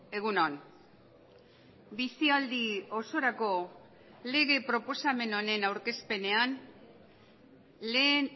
egun on bizialdi osorako lege proposamen honen aurkezpenean lehen